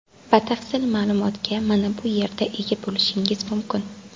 Batafsil ma’lumotga mana bu yerda ega bo‘lishingiz mumkin.